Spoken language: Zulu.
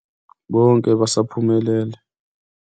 Konke, basaphumelele.